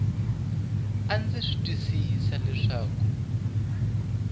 e ndza swi twisisa leswaku